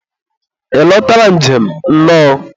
ị lotara njem, nnọọ.